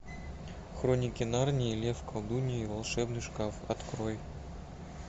хроники нарнии лев колдунья и волшебный шкаф открой